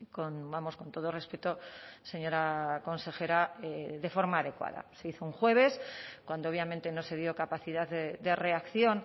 con vamos con todo respeto señora consejera de forma adecuada se hizo un jueves cuando obviamente no se dio capacidad de reacción